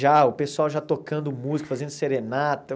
Já, o pessoal já tocando música, fazendo serenata.